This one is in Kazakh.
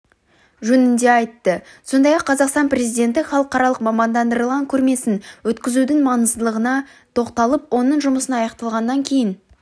жөнінде айтты сондай-ақ қазақстан президенті халықаралық мамандандырылған көрмесін өткізудің маңыздылығына тоқталып оның жұмысы аяқталғаннан кейін